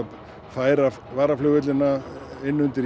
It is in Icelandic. færa varaflugvellina inn undir